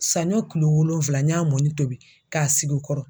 Saɲɔ kulo wolonwula n y'a mɔni tobi k sigi u kɔrɔ.